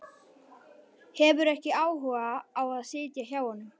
Hefur ekki áhuga á að sitja hjá honum.